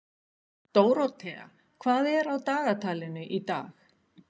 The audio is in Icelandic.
Dórótea, hvað er á dagatalinu í dag?